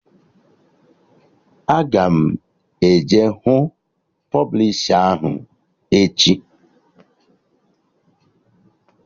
Aga m eje hụ pọblishi ahụ echi